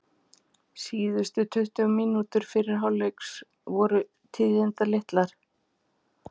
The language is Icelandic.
Síðustu tuttugu mínútur fyrri hálfleiks voru tíðindalitlar.